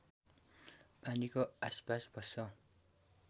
पानीको आसपास बस्छ